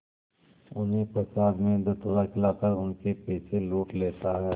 उन्हें प्रसाद में धतूरा खिलाकर उनके पैसे लूट लेता है